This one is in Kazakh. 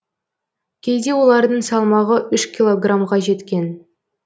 кейде олардың салмағы үш килограммға жеткен